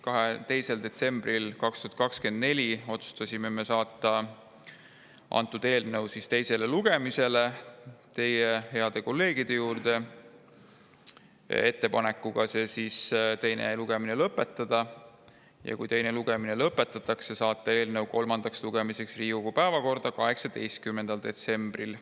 2. detsembril 2024 otsustasime saata eelnõu, head kolleegid, teie ette teisele lugemisele ettepanekuga teine lugemine lõpetada, ja kui teine lugemine lõpetatakse, siis saata eelnõu kolmandaks lugemiseks Riigikogu päevakorda 18. detsembriks.